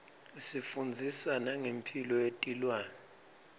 isifundzisa nangemphilo yetilwane